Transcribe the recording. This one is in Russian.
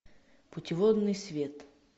путеводный свет